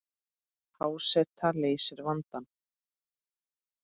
Há seta leysir vandann